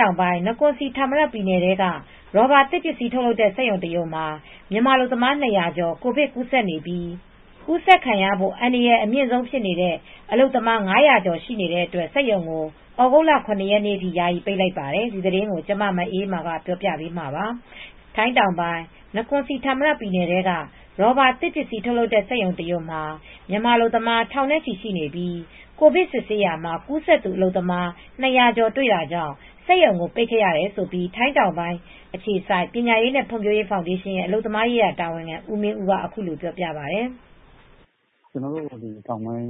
တောင်ပိုင်း Nakhon Si Thammarat နကွန်စီဌာမရတ် ပြည်နယ်ထဲက ရော်ဘာသစ်ပစ္စည်းစက်ရုံတရုံမှာမြန်မာအလုပ်မား၂၀၀ ကျော် ကိုဗစ်ကူးစက်နေပြီး ကူစက်ခံရဖို့ အန္တရာယ်အမြင့်ဆုံးဖြစ်နေတဲ့အလုပ်သမား ၅၀၀ကျော်ရှိနေတဲ့အတွက် စက်ရုံကို သြဂုတ်လ ၇ ရက်နေ့ထိ ယာယီပိတ်လိုက်ပါတယ်။ ဒီသတင်းကို ထိုင်းအခြေစိုက် ဗွီအိုအေသတင်းထောက် မအေးအေးမာက သတင်းပေးပို့ထားပါတယ်။ ထိုင်းတောင်ပိုင်း၊ နကွန်စီဌာမရတ် ပြည်နယ်ထဲက ရော်ဘာသစ်ပစည်းထုပ်လုပ်တဲ့စက်ရုံတရုံမှာ မှာမြန်မာအလုပ်သမားထောင်နဲ့ချီရှိနေပြီး ကိုဗစ်စစ်ဆေးရာမှာ ကူးစက်သူ အလုပ်သမား၂၀၀ ကျော်တွေ့တာကြောင့် စက်ရုံကိုပိတ်ခဲ့ရတယ်လို့ ထိုင်းတောင်ပိုင်းအခြေစိုက် ပညာရေးနဲ့ဖွံဖြိုးရေးနဲ့ ဖောင်ဒေးရှင်းရဲ့အလုပ်သမားရေးရာ တာဝန်ခံ ဦးမင်းဦးကအခုလိုပြောပါတယ်။ “တောင်ပိုင်း နကွန်စီဌာမရက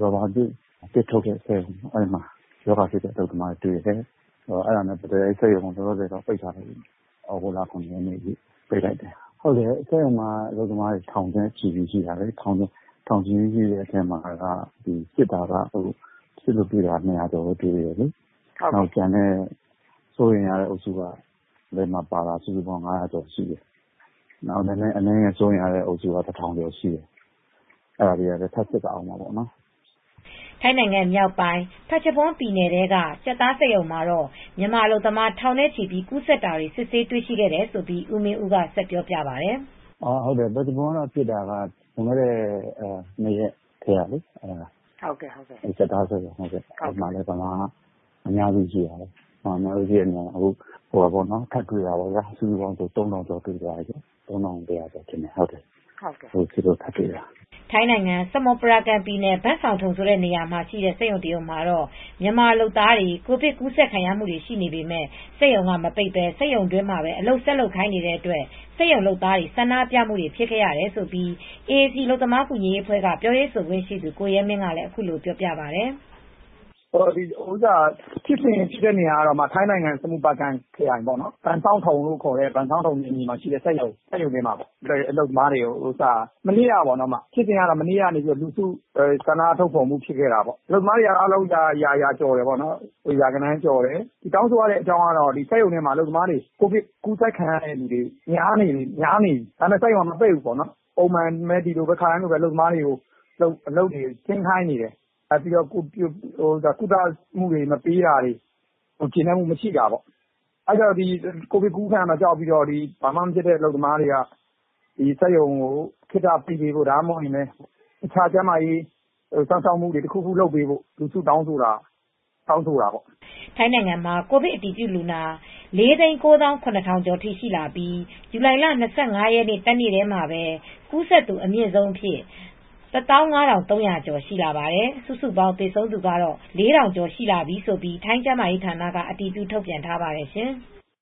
ရော်ဘာကနေ သစ်ပစ္စည်းထုတ်လုပ်ရေးစက်ရုံမှာ ရောဂါဖြစ်တဲ့အလုပ်သမားတွေ တွေ့တယ်။ အဲဒီတော့ အဲဒီစက်ရုံကို လောလောဆယ် ပိတ်ပစ်လိုက်တယ်။ သြဂုတ်လ ၇ ရက်နေ့ထိ ပိတ်လိုက်တယ်။ စက်ရုံမှာအလုပ်သမားတွေ ထောင်ချီရှိတယ်။ စစ်လို့တွေ့တာ ၂၀၀ ကျော်ပဲတွေ့တယ်။ စိုးရိမ်ရတဲ့အထဲမှာပါတာက စုစုပေါင်း ၅၀၀ ကျော်ရှိတယ်။ အနည်းငယ်စိုးရိမ်ရတာက တထောင်ကျော်ရှိတယ်။ အဲဒါတွေကထပ်စစ်ရအုန်းမယ်လေ။” ထိုင်းနိုင်ငံမြောက်ပိုင်း phetchabun ပက်ချဘွန်းပြည်နယ်ထဲက ကြက်သားစက်ရုံမှာတော့ မြန်မာအလုပ်သမားထောင်နဲ့ချီပြီး ကူးစက်နေတာကို စစ်ဆေးတွေ့ရှိတယ်ဆိုပြီး ဦမင်ဦးကဆက်ပြောပြပါတယ်။ “ပက်ချဘွန်းမှာဖြစ်တာက လွန်ခဲ့တဲ့ ၂ ရက်၊ ကြက်သားစက်ရုံ။ မြန်မာအများစုရှိတာ။ အခုစစ်တာ တွေ့တာဆို စုစုပေါင်းလူ ၃,၀၀၀ ကျော်တွေ့သွားပြီး ၃,၁၀၀ ကျော်ထပ်စစ်တာလို့တွေ့တာ။” ထိုင်းနိုင်ငံ ဆာမွတ်ပရာကန်ပြည်နယ် ဘန်စောင်ထုန်ဆိုတဲ့နေရာမှာရှိတဲ့ စက်ရုံတရုံမှာ မြန်မာလုပ်သားတွေ ကိုဗစ်ကူးစက်ခံနေရပေမယ့် စက်ရုံကမပိတ်ဘဲ စက်ရုံတွင်းမှာ အလုပ်ဆက်လုပ်ခိုင်းနေတဲ့အတွက် စက်ရုံလုပ်သားတွေဆန္ဒပြခဲ့ကြောင်းAAC အလုပ်သမားကူညီရေးအဖွဲ့က ပြောရေးဆိုခွင့်ရှိသူ ကိုရဲမင်းက အခုလိုပြောပါတယ်။ “ဖြစ်စဉ်ဖြစ်တာကတော့ ထိုင်းနိုင်ငံ ဆာမွန်ပရာကန်ခရိုင် ဘန့်စောင်ထုန်နယ်မြေမှာရှိတဲ့ စက်ရုံမှာပါ။ မနေ့က ဆန္ဒပြခဲ့ကြတာပါ။ အလုပ်သမားရာကျော်ရှိတယ်။ တောင်းဆိုရတဲ့အကြောင်းက စက်ရုံထဲကအလုပ်သမားတွေ ကိုဗစ်ကူးစက်ခံရတာများနေပြီ။ ဒါပေမယ့်စက်ရုံကမပိတ်ဘူး။ ပုံမှန်ပဲ၊ အလုပ်သမားတွေကိုအလုပ်တွေဆက်ဆင်းခိုင်းနေတယ်။ ကုသမှု မပေးတာတွေကို ကျေနပ်မူမရှိတာပေါ့။ ကိုဗစ်ကူးခံမှာကြောက်ပြီး ဘာမှ မဖြစ်သေးတဲ့အလုပ်သမားတွေက စက်ရုံကို ခေတ္ဆပိတ်ပေးဖို့ ကျန်းမာရေး စစ်ဆေးမှု တခုခုလုပ်ပေးဖို့ လူစုတောင်းဆိုတာတွေဖြစ်သွားတာပေါ့။” ထိုင်းနိုင်ငံမှာ ကိုဗစ်အတည်ပြု လူနာ ၄၉၇,၀၀၀ ကျော်ထိ ရှိလာပြီး ဇူလိုင်လ၂၅ ရက်နေ့တနေ့တည်းမှာပဲ ကူးစက်သူ အမြင့်ဆုံးအဖြစ် ၁၅,၃၀၀ ကျော်ရှိလာပါတယ်။ စုစုပေါင်း သေဆုံးသူကတော့ ၄,၀၀၀ ကျော်ရှိလာပြီလို့ထိုင်းကျန်းမာရေးဌာနကအတည်ပြုထုတ်ပြန်ထားပါတယ်ရှင်။